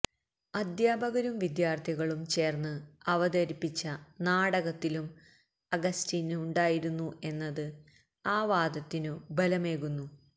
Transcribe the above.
അധ്യാപകരും വിദ്യാര്ഥികളും ചേര്ന്ന് അവതരിപ്പിച്ച നാടകത്തിലും അഗസ്റ്റിന് ഉണ്ടായിരുന്നു എന്നത് ആ വാദത്തിനു ബലമേകുന്നു